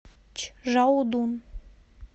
чжаодун